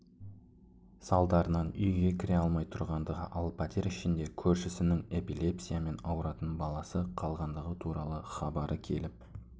салдарынан үйге кіре алмай тұрғандығы ал пәтер ішінде көрсішінің эпилепсиямен ауыратын баласы қалғандығы туралы хабары келіп